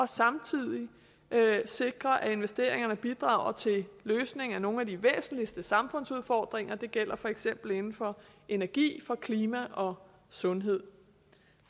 samtidig sikrer det at investeringerne bidrager til løsningen af nogle af de væsentligste samfundsudfordringer det gælder for eksempel inden for energi klima og sundhed